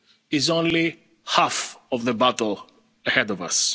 the vaccine is only half of the battle